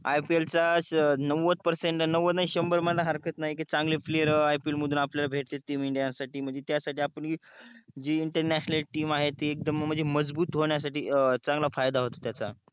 IPL च्या नवध percent नवध नाही संभर मना हरकत नाही की चांगले playeripl मधून आपल्याला भेटते team india साठी म्हणजे त्या साठी आपण ही जी international team आहे ती एकदम म्हणजे मजबूत होण्यासाठी चांगला फायदा होतो त्याच्या